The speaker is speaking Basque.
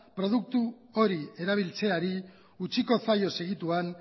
produktu hori erabiltzeari utziko zaio segituan